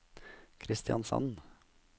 Kristiansand